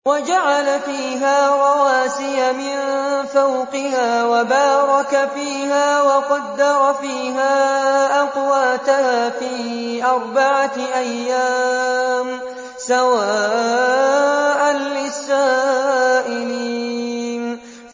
وَجَعَلَ فِيهَا رَوَاسِيَ مِن فَوْقِهَا وَبَارَكَ فِيهَا وَقَدَّرَ فِيهَا أَقْوَاتَهَا فِي أَرْبَعَةِ أَيَّامٍ سَوَاءً لِّلسَّائِلِينَ